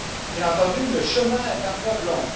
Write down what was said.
Bien entendu, le chemin est encore long.